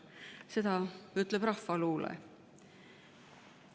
Seda ütleb rahvaluule.